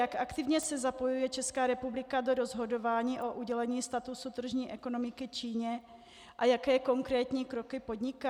Jak aktivně se zapojuje Česká republika do rozhodování o udělení statusu tržní ekonomiky Číně a jaké konkrétní kroky podniká?